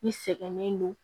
I sɛgɛnnen don